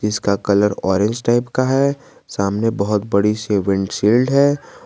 इसका colour orange type का है सामने बहुत बड़ी सी विंड शील्ड है।